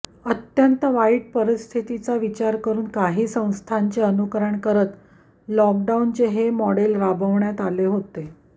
अत्यंत वाईट परिस्थितीचा विचार करुन काही संस्थांचे अनुकरण करत लॉकडाऊनचे हे मॉडेल राबवण्यात आले होते